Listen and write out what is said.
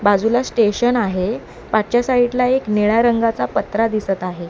बाजूला स्टेशन आहे पाठच्या साईडला एक निळा रंगाचा पत्रा दिसत आहे.